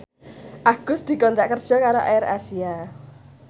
Agus dikontrak kerja karo AirAsia